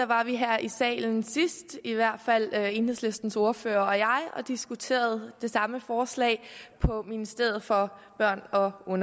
var vi her i salen i hvert fald enhedslistens ordfører og jeg og diskuterede det samme forslag på ministeren for børn og og